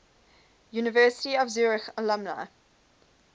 university of zurich alumni